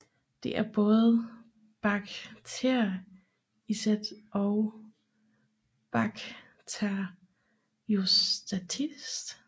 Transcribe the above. Det er både baktericidt og bakteriostatisk